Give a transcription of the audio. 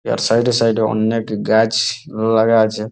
ইয়ার side -এ side -এ অন্নেক গাছ লাগা আছে।